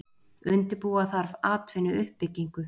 Undirbúa þarf atvinnuuppbyggingu